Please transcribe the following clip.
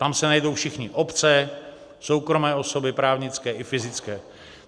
Tam se najdou všichni - obce, soukromé osoby, právnické i fyzické.